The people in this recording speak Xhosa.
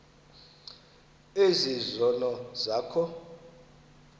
ezi zono zakho